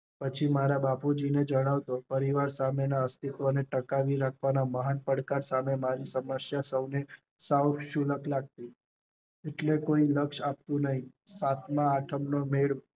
પછી મારા બાપુજી ને જણાવતો, પરિવાર ના સામે ના અસ્તિત્વ ટકાવી રખવા મહાન પડકાર સામે ના સમસયા સૌને શુનકઃ લગતી એટલે કોઈ લક્ષ્ય આપતું નહીં, સાતમા આઠમા નો મેલ